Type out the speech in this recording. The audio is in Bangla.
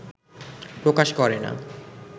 প্রকাশ করে না